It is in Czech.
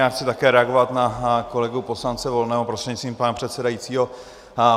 Já chci také reagovat na kolegu poslance Volného prostřednictvím pana předsedajícího.